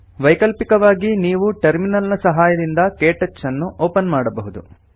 ವೈಕಲ್ಪಿಕವಾಗಿ ನೀವು ಟರ್ಮಿನಲ್ ನ ಸಹಾಯದಿಂದ ಕೆಟಚ್ ಅನ್ನು ಒಪನ್ ಮಾಡಬಹುದು